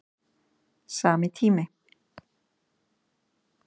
Sami tími